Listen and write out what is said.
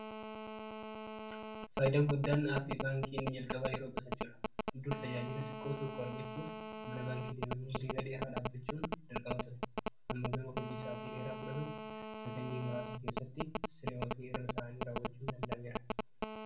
faayidaa guddaan aappii baankii inni jalqabaa yeroo qusachuudha. dur tajaajila xiqqoo tokko argachuuf mana baankii deemamii hiriira dheeraa dhaabbachuun darqama ture ammoo garuu hojii isaatii dheeraa fudhatu sekendii muraasa keessatti siree ofii irraa ta'anii raawwachuu dandameera